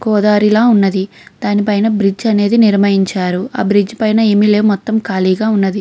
గోదావరి లా ఉన్నది దాని పైన బ్రిడ్జ్ అనేది నిర్మించారు ఆ బ్రిడ్జ్ పైన ఏమి లేవు మొత్తం ఖాలీగ ఉన్నది.